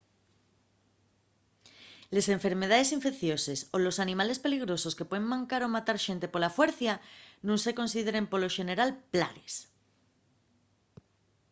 les enfermedaes infeicioses o los animales peligrosos que puen mancar o matar xente pola fuercia nun se consideren polo xeneral plagues